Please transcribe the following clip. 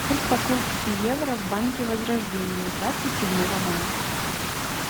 курс покупки евро в банке возрождение двадцать седьмого мая